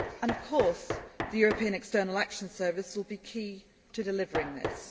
Of course, the European External Action Service will be key to delivering this.